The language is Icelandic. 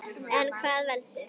En hvað veldur?